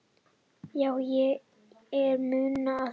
"""Já, er munur á því?"""